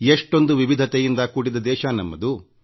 ಎಷ್ಟೊಂದು ವಿವಿಧತೆಯಿಂದ ಕೂಡಿದ ದೇಶ ನಮ್ಮದು